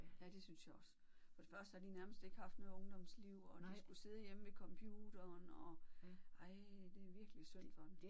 Ja det synes jeg også. For det første har de nærmest ikke haft noget ungdomsliv og de skulle sidde hjemme ved computeren og ej det er virkelig synd for dem